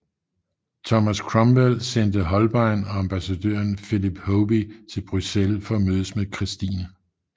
Thomas Cromwell sendte Holbein og ambassadøren Philip Hoby til Bruxelles for at mødes med Christine